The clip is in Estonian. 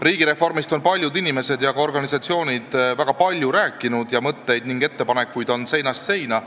Riigireformist on paljud inimesed ja ka organisatsioonid väga palju rääkinud, mõtteid ning ettepanekuid on seinast seina.